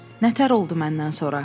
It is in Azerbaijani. Nə təhər oldu məndən sonra?